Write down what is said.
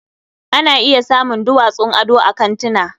Ana iya samun duwatsun ado a kantina.